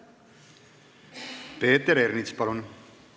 Peeter Ernits, palun!